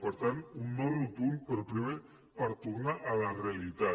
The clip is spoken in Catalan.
per tant un no rotund però primer per tornar a la realitat